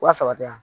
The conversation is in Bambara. Wa saba tɛ yan